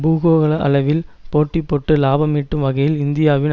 பூகோள அளவில் போட்டி போட்டு லாபம் ஈட்டும் வகையில் இந்தியாவின்